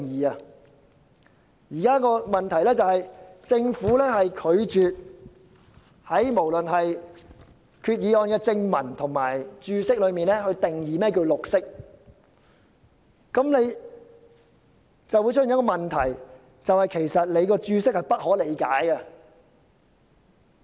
當前的問題是，政府拒絕在決議案的正文或註釋中定義何謂"綠色"，以致當局的註釋變得不可理解。